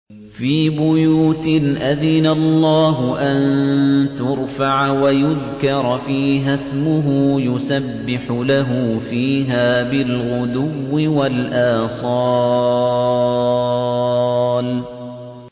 فِي بُيُوتٍ أَذِنَ اللَّهُ أَن تُرْفَعَ وَيُذْكَرَ فِيهَا اسْمُهُ يُسَبِّحُ لَهُ فِيهَا بِالْغُدُوِّ وَالْآصَالِ